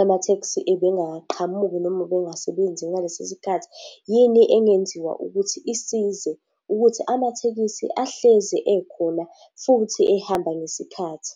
amatheksi ebengaqhamuki, noma ubengasebenzi ngalesi sikhathi? Yini engenziwa ukuthi isize ukuthi amathekisi ahlezi ekhona futhi ehamba ngesikhathi?